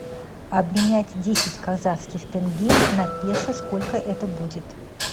обменять десять казахских тенге на песо сколько это будет